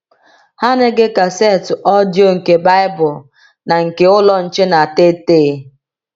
Ha na-ege kasetụ ọdịyo nke Baịbụl na nke Ụlọ Nche na Tetee!